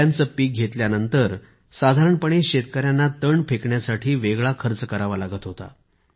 केळ्यांचे पीक घेतल्यानंतर साधारणपणे शेतकऱ्यांना तण फेकण्यासाठी वेगळा खर्च करावा लागत होता